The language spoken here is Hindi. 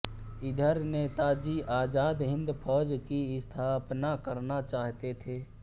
इधर नेताजी आज़ाद हिन्द फौज की स्थापना करना चाहते थे